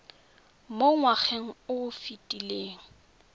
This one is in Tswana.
mo ngwageng o o fetileng